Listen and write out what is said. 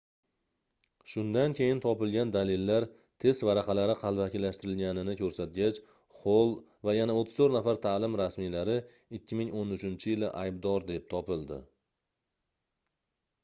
shundan keyin topilgan dalillar test varaqalari qalbakilashtirilganini koʻrsatgach xoll va yana 34 nafar taʼlim rasmiylari 2013-yili aybdor deb topildi